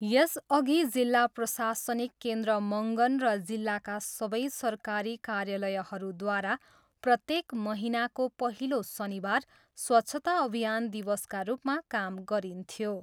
यसअघि जिल्ला प्रशासनिक केन्द्र मङ्गन र जिल्लाका सबै सरकारी कार्यालयहरूद्वारा प्रत्येक महीनाको पहिलो शनिवार स्वच्छता अभियान दिवसका रूपमा काम गरिन्थ्यो।